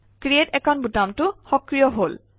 create account বুটামটো সক্ৰিয় হল